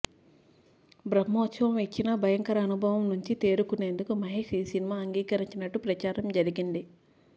బ్రహ్మోత్సవం ఇచ్చిన భయంకర అనుభవం నుంచి తేరుకునేందుకు మహేష్ ఈ సినిమా అంగీకరించినట్టు ప్రచారం జరిగింది